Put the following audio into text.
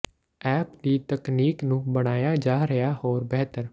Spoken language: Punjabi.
ਐਪ ਦੀ ਤਕਨੀਕ ਨੂੰ ਬਣਾਇਆ ਜਾ ਰਿਹਾ ਹੋਰ ਬਿਹਤਰ